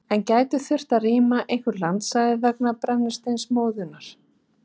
En gæti þurft að rýma einhver landsvæði vegna brennisteinsmóðunnar?